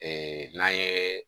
Ee n'an ye